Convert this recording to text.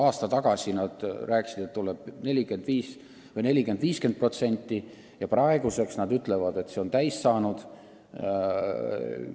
Aasta tagasi tootjad väitsid, et selleks näitajaks tuleb 40–50%, praegu nad arvavad, et see ongi täis saanud.